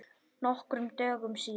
Nokkrum dögum síðar.